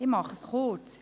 Ich mache es kurz.